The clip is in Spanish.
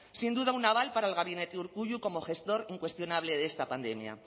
sin duda un aval para el gabinete de urkullu como gestor incuestionable de esta pandemia